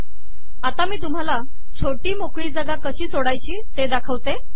आता मी तुमहाला छोटी मोकळी जागा कशी सोडायची ते दाखवणार आहे